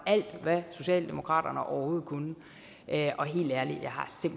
alt hvad socialdemokratiet overhovedet kunne helt ærligt